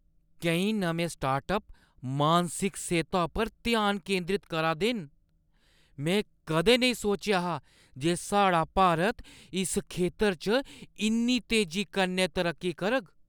केईं नमें स्टार्टअप मानसिक सेह्‌ता उप्पर ध्यान केंदरत करा दे न! में कदें नेईं सोचेआ हा जे साढ़ा भारत इस खेतर च इन्नी तेजी कन्नै तरक्की करग।